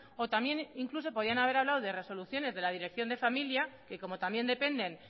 o también incluso podían haber hablado de resoluciones de la dirección de familia y como también dependen